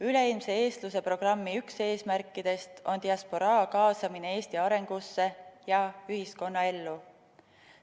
Üleilmse eestluse programmi üks eesmärkidest on diasporaa kaasamine Eesti arengusse ja ühiskonnaellu.